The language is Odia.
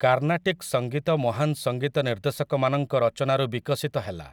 କାର୍ନାଟିକ୍ ସଂଗୀତ ମହାନ ସଂଗୀତ ନିର୍ଦେଶକମାନଙ୍କ ରଚନାରୁ ବିକଶିତ ହେଲା ।